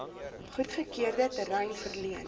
goedgekeurde terrein verleen